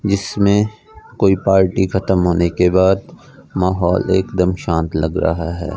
जीसमें कोई पार्टी खत्म होने के बाद माहौल एकदम शांत लग रहा है।